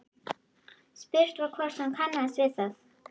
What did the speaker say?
Spurt var hvort hún kannaðist við það?